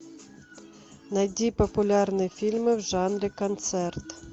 найди популярные фильмы в жанре концерт